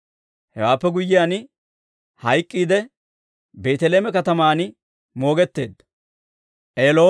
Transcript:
Hewaappe guyyiyaan hayk'k'iidde, Beeteleeme kataman moogetteedda.